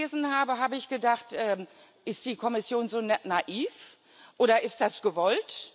Als ich das gelesen habe, habe ich gedacht Ist die Kommission so naiv, oder ist das gewollt?